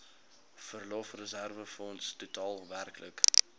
verlofreserwefonds totaal werklik